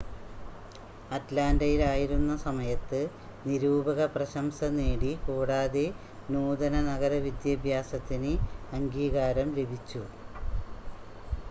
അറ്റ്ലാൻ്റയിൽ ആയിരുന്ന സമയത്ത് നിരൂപക പ്രശംസ നേടി കൂടാതെ നൂതന നഗര വിദ്യാഭ്യാസത്തിന് അംഗീകാരം ലഭിച്ചു